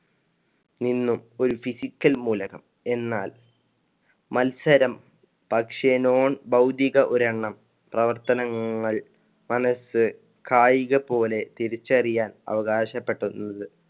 നിന്നും ഒരു physical മൂലകം എന്നാല്‍ മത്സരം പക്ഷെ non ഭൌതിക ഒരെണ്ണം പ്രവർത്തനങ്ങൾ മനസ്സ് കായിക പോലെ തിരിച്ചറിയാൻ അവകാശപ്പെട്ടത്